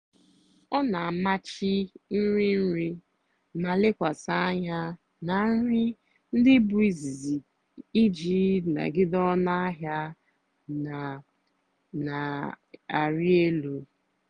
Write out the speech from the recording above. ọ́ nà-àmàchì nrì nrì mà lèkwàsị́ ànyá nà nrì ndí bụ́ ízìzì ìjì nàgìdé ónú àhịá nà-àrị́ èlú.